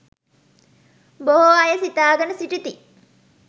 බොහෝ අය සිතාගෙන සිටිති